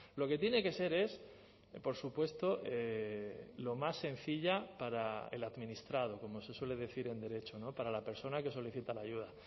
lo que tiene que ser es por supuesto lo más sencilla para el administrado como se suele decir en derecho para la persona que solicita la ayuda